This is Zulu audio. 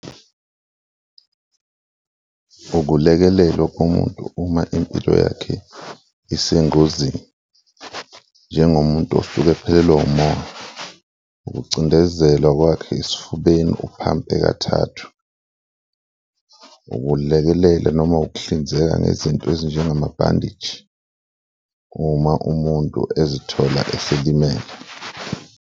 Ukulekelelo kumuntu uma impilo yakhe isengozini, njengomuntu osuke ephelelwa umoya, ukucindezelwa kwakhe esifubeni uphampe kathathu, ukulekelela noma ukuhlinzeka ngezinto ezinjengama-bandage-i uma umuntu ezithola eselimele.